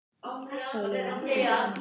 Völ er á ýmsum gerðum af brennurum.